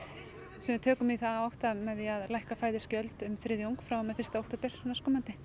sem við tökum í þá átt með því að lækka um þriðjung frá og með fyrsta október næstkomandi